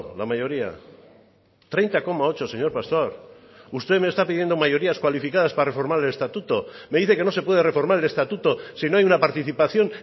la mayoría treinta coma ocho señor pastor usted me está pidiendo mayorías cualificadas para reformar el estatuto me dice que no se puede reformar el estatuto si no hay una participación